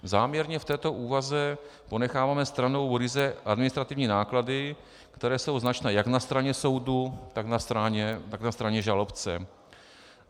Záměrně v této úvaze ponecháváme stranou ryze administrativní náklady, které jsou značné jak na straně soudu, tak na straně žalobce.